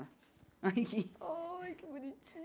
Ai, que bonitinha!